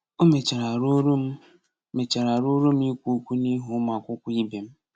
O mechara ruoro m mechara ruoro m ikwu okwu n’ihu ụmụ akwụkwọ ibe m.